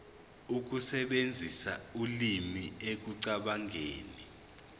ukusebenzisa ulimi ekucabangeni